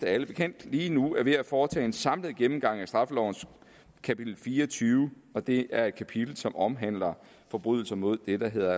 er alle bekendt lige nu er ved at foretage en samlet gennemgang af straffelovens kapitel fire og tyve og det er et kapitel som omhandler forbrydelser mod det der hedder